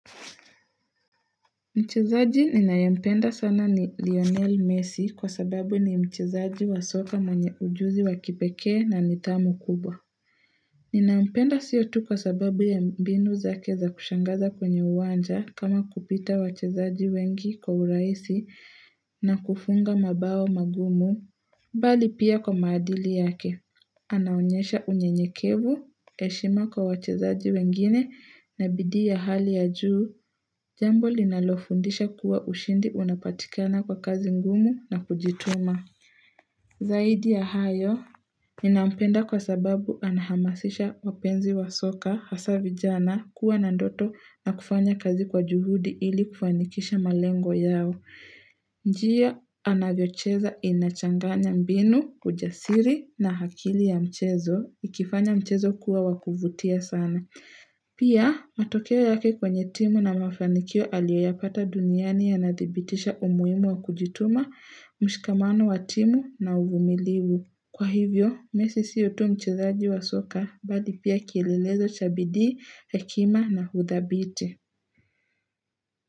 Mchezaji ninayempenda sana ni Lionel Messi kwa sababu ni mchezaji wa soka mwenye ujuzi wa kipekee na nithamu kubwa. Ninampenda siyo tu kwa sababu ya mbinu zake za kushangaza kwenye uwanja kama kupita wachezaji wengi kwa urahisi na kufunga mabao magumu. Bali pia kwa maadili yake, anaonyesha unyenyekevu, heshima kwa wachezaji wengine na bidii ya hali ya juu, jambo linalofundisha kuwa ushindi unapatikana kwa kazi ngumu na kujituma. Zaidi ya hayo, ninampenda kwa sababu anahamasisha wapenzi wa soka hasa vijana kuwa na ndoto na kufanya kazi kwa juhudi ili kufanikisha malengo yao. Njia anavyocheza inachanganya mbinu, ujasiri na akili ya mchezo, ikifanya mchezo kuwa wakuvutia sana. Pia, matokeo yake kwenye timu na mafanikio aliyo ya pata duniani yanadhibitisha umuhimu wa kujituma, mshikamano wa timu na uvumilivu. Kwa hivyo, messi siyo tu mchezaji wa soka, bali pia kielelezo cha bidii, hekima na huthabiti.